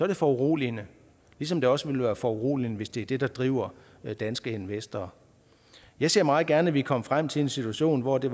det foruroligende ligesom det også vil være foruroligende hvis det er det der driver danske investorer jeg ser meget gerne at vi kommer frem til en situation hvor det